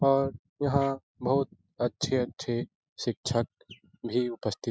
और यहाँ बहुत अच्छे-अच्छे शिक्षक भी उपस्थित --